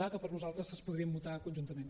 a que per nosaltres es podrien votar conjuntament